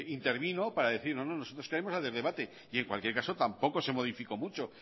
intervino para decir no no nosotros queremos hacer debate en cualquier caso tampoco se modificó mucho